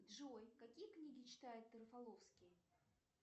джой какие книги читает рафаловский